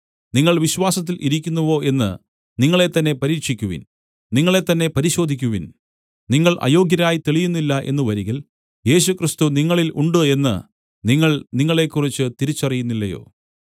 നിങ്ങൾ വിശ്വാസത്തിൽ ഇരിക്കുന്നുവോ എന്ന് നിങ്ങളെത്തന്നെ പരീക്ഷിക്കുവിൻ നിങ്ങളെത്തന്നെ പരിശോധിക്കുവിൻ നിങ്ങൾ അയോഗ്യരായി തെളിയുന്നില്ല എന്നു വരികിൽ യേശുക്രിസ്തു നിങ്ങളിൽ ഉണ്ട് എന്ന് നിങ്ങൾ നിങ്ങളെക്കുറിച്ച് തിരിച്ചറിയുന്നില്ലയോ